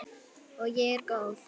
Og ég er góð.